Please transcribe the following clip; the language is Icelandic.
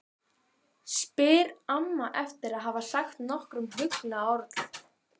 spyr amma eftir að hafa sagt nokkur huggunarorð.